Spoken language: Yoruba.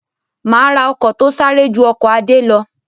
Má ra ọkọ̀ to sáré ju ọkọ̀ Adé lọ